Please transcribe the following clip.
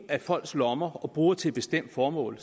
af folks lommer og bruger dem til et bestemt formål